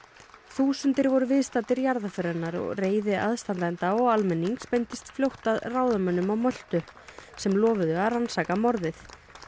þúsundir voru viðstaddir jarðarför hennar og reiði aðstandenda og almennings beindist fljótt að ráðamönnum á Möltu sem lofuðu að rannsaka morðið